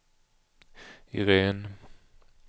Iréne